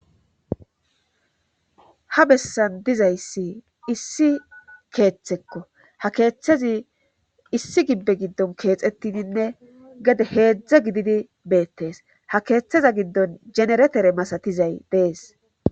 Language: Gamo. ha bessan dizayssi issi keeththekko ha keeththazi issi gibbe giddon keexettidinne gee heedzdza gididi beettees ha keeththeza giddon jeneretere masatizay dees